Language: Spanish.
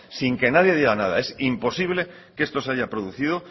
sin que nadie diga nada es imposible que esto se haya producido